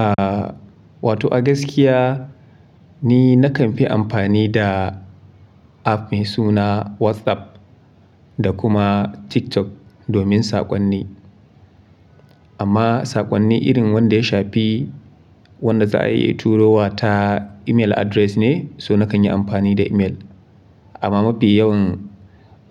Ah, wato agaskiya ni nakan fi amfani da app mai suna WhatsApp da kuma TikTok domin saƙonni. Amma saƙonni irin wanda ya shafi wanda za a iya turo wa ta email address ne, so na kan yi amfani da email. Amma mafi yawan